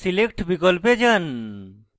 select বিকল্পে যান